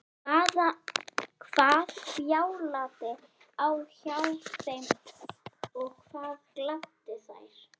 Hvað bjátaði á hjá þeim og hvað gladdi þær?